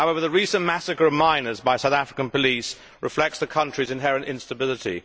However, the recent massacre of miners by South African police reflects the country's inherent instability.